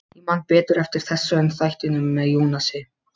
Ég man betur eftir þessu en þættinum með Jónasi.